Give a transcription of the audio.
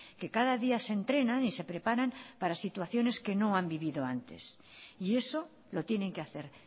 que cada día se entrenan y se preparan para situaciones que no han vivido antes y eso lo tienen que hacer